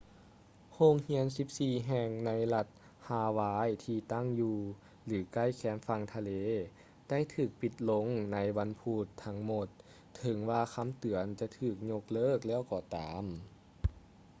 ໂຮງຮຽນສິບສີ່ແຫ່ງໃນລັດຮາວາຍທີ່ຕັ້ງຢູ່ ຫຼື ໃກ້ແຄມຝັ່ງທະເລໄດ້ຖືກປິດລົງໃນວັນພຸດທັງໝົດເຖິງວ່າຄຳເຕືອນຈະຖືກຍົກເລີກແລ້ວກໍຕາມ